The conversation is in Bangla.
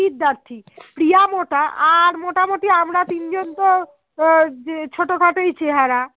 প্রিয়া মোটা আর মোটামুটি আমরা তিনজন আহ তো ছোট খাটোই চেহারা